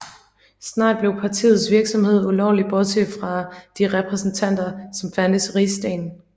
Snart blev partiets virksomhed ulovlig bortset fra de repræsentanter som fandtes i Rigsdagen